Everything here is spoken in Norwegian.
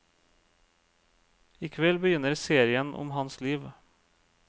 I kveld begynner serien om hans liv.